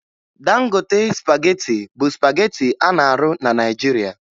Dangote spagetị bụ spagetị a na-arụ na Naịjirịa